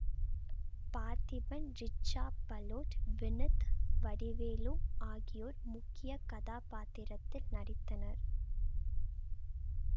பார்த்திபன் ரிச்சா பலோட் வினித் வடிவேலு ஆகியோர் முக்கிய கதாப்பாத்திரத்தில் நடித்தனர்